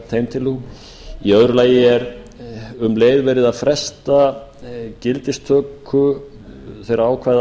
þeim tillögum í öðru lagi um leið verið að fresta gildistöku þeirra ákvæða